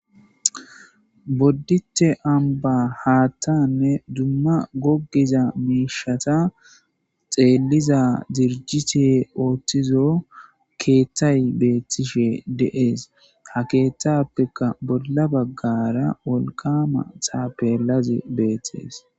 Boddite amba haattanne dumma gogiza miishata xeelliza dirjite ooththizo keettay beettishe de's ha keettappekka bolla baggara olkama thapelazi beettes.